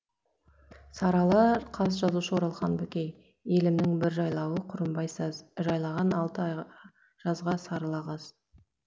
сарыала қаз жазушы оралхан бөкей елімнің бір жайлауы құрымбай саз жайлаған алты ай жазға сарыла қаз